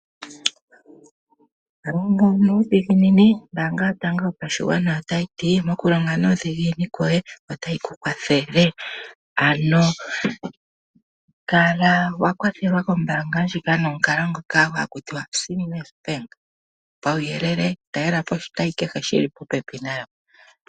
Longa nuudhiginini, ombaanga yotango otayi ti mokulonga nuudhiginini kwoye otayi ku kwathele. Ano kala wa kwathelwa kombaanga ndjoka nomukalo ngoka hakutiwa "seamless bank". Pawuyelele talelapo oshitayi kehe shili popepi nangweye.